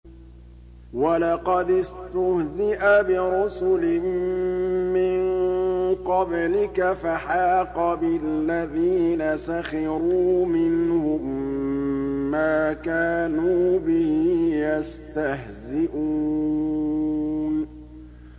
وَلَقَدِ اسْتُهْزِئَ بِرُسُلٍ مِّن قَبْلِكَ فَحَاقَ بِالَّذِينَ سَخِرُوا مِنْهُم مَّا كَانُوا بِهِ يَسْتَهْزِئُونَ